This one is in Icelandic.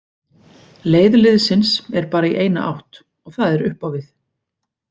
Leið liðsins er bara í eina átt og það er upp á við.